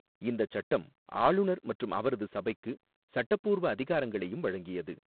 இந்தச் சட்டம் ஆளுநர் மற்றும் அவரது சபைக்கு சட்டபூர்வ அதிகாரங்களையும் வழங்கியது.